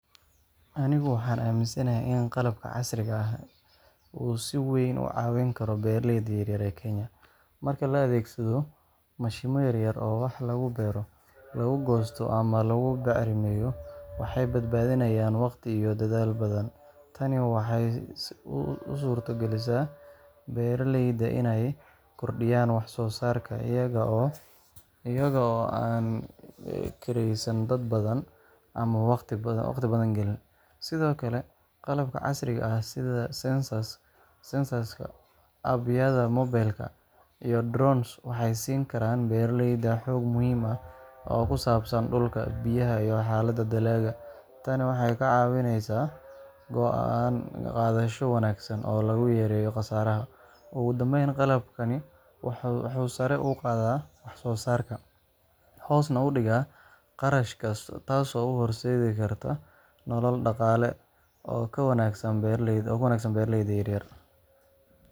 Anigu waxaan aaminsanahay in qalabka casriga ah uu si weyn u caawin karo beeraleyda yaryar ee Kenya. Marka la adeegsado mashiinno yaryar oo wax lagu beero, lagu goosto ama lagu bacrimiyo, waxay badbaadinayaan waqti iyo dadaal badan. Tani waxay u suurto gelisaa beeraleyda inay kordhiyaan wax-soo-saarkooda iyaga oo aan kireysan dad badan ama waqti badan gelin. Sidoo kale, qalabka casriga ah sida sensors, app-yada mobilka, iyo drones, waxay siin karaan beeraleyda xog muhiim ah oo ku saabsan dhulka, biyaha, iyo xaaladda dalagga. Tani waxay ka caawisaa go’aan-qaadasho wanaagsan oo lagu yareeyo khasaaraha. Ugu dambeyn, qalabkani wuxuu sare u qaadaa wax-soo-saarka, hoosna u dhigaa kharashaadka, taasoo u horseedi karta nolol dhaqaale oo ka wanaagsan beeraleyda yaryar.